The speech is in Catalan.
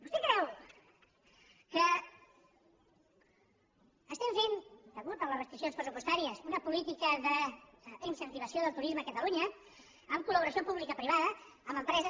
vostè creu que fem a causa de les restriccions pressupostàries una política d’incentivació del turisme a catalunya amb col·laboració pública i privada i amb empreses